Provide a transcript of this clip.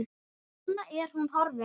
Núna er hún horfin.